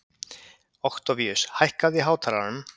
Októvíus, hækkaðu í hátalaranum.